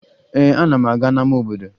Ee, ana m aga n'ama obodo